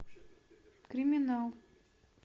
криминал